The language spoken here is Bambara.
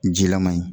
Jilaman ye